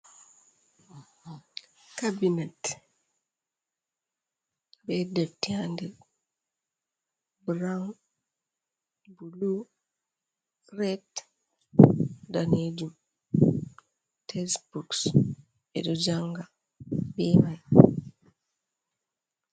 Kabinet be defti ha nder, burawun bulu red danejum, tesboks beɗo janga be mai.